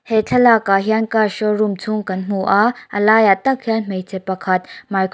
thlalak ah hian car showroom chhung kan hmu a a lai ah tak hian hmeichhe pakhat microphone --